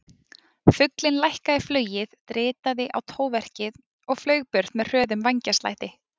Fuglinn lækkaði flugið, dritaði í tóverkið og flaug burt með hröðum vængjaslætti.